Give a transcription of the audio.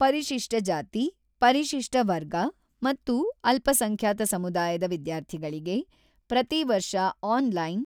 ಪರಿಶಿಷ್ಟ ಜಾತಿ, ಪರಿಶಿಷ್ಟ ವರ್ಗ ಮತ್ತು ಅಲ್ಪಸಂಖ್ಯಾತ ಸಮುದಾಯದ ವಿದ್ಯಾರ್ಥಿಗಳಿಗೆ ಪ್ರತಿ ವರ್ಷ ಆನ್ ಲೈನ್